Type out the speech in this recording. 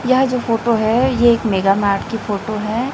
यह जो फोटो है ये एक मेगा मार्ट की है।